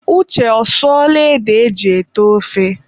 Uche ọsụọla ede e ji ete ofe?